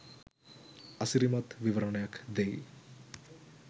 අසිරිමත් විවරණයක් දෙයි